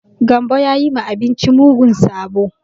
Gambo ya yi ma abinci mugun sabo.